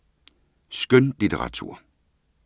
Skønlitteratur